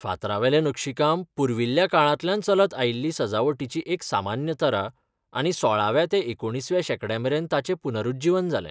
फातरावेलें नक्षीकाम पुर्विल्ल्या काळांतल्यान चलत आयिल्ली सजावटीची एक सामान्य तरा, आनी सोळाव्व्या ते एकुणीसव्या शेंकड्यामेरेन ताचें पुनरूज्जीवन जालें.